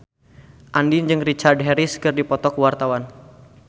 Andien jeung Richard Harris keur dipoto ku wartawan